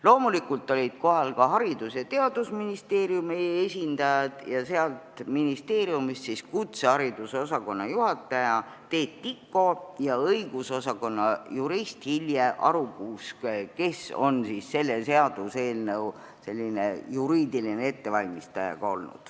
Loomulikult olid kohal ka Haridus- ja Teadusministeeriumi esindajad, kutsehariduse osakonna juhataja Teet Tiko ja õigusosakonna jurist Hilje Arukuusk, kes on olnud ka selle seaduseelnõu juriidiline ettevalmistaja.